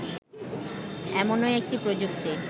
এমনই একটি প্রযুক্তি